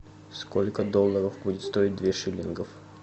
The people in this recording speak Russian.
сколько долларов будет стоить две шиллингов